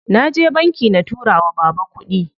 Naje banki na tura wa baba kuɗi.